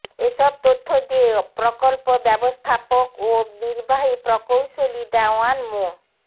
এসব তথ্য দিয়ে প্রকল্প ব্যবস্থাপক ও নির্বাহী প্রকৌশলী দেওয়ান মো